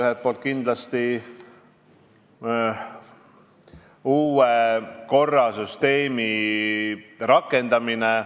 Üks põhjus on kindlasti uue korra, süsteemi rakendamine.